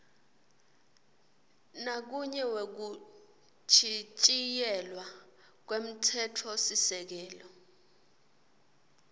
nakunye wekuchitjiyelwa kwemtsetfosisekelo